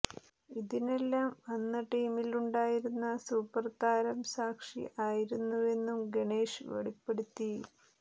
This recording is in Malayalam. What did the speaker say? ഇതിനെല്ലാം അന്ന് ടീമിലുണ്ടായിരുന്ന സൂപ്പര് താരം സാക്ഷി ആയിരുന്നുവെന്നും ഗണേഷ് വെളിപ്പെടുത്തി